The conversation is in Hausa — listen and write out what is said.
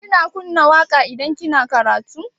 Kina kunna waƙa idan kina karatu?